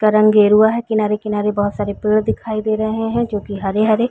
का रंग गेरुवा है। किनारे-किनारे बहुत सारे पेड़ दिखाई दे रहे है जो की हरे-हरे--